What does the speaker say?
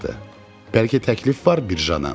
Bəlkə təklif var, Bircana?